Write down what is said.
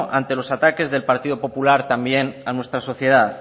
ante los ataques del partido popular también a nuestra sociedad